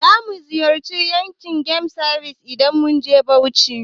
Zamu ziyarci yankari game reserve idan mun je Bauchi.